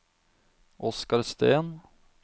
Oskar Steen